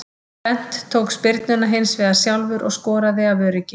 Bent tók spyrnuna hinsvegar sjálfur og skoraði af öryggi.